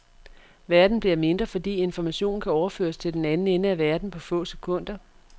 Verden bliver mindre fordi information kan overføres til den anden ende af verden på få sekunder.